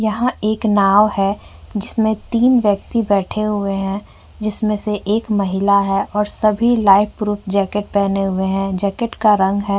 यहाँ एक नाव है जिसमे तीन व्यक्ति बेठे हुए हैं जिसमे से एक महिला है और सभी लाइफ प्रूफ जैकेट पहने हुए हैं। जैकेट का रंग है --